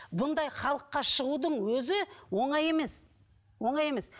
бұндай халыққа шығудың өзі оңай емес оңай емес